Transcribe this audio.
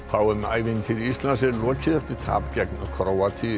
h m ævintýri Íslands er lokið eftir tap gegn Króatíu